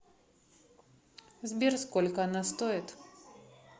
сбер сколько она стоит